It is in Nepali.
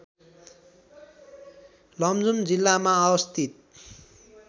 लमजुङ जिल्लामा अवस्थित